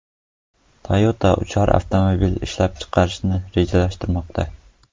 Toyota uchar avtomobil ishlab chiqarishni rejalashtirmoqda.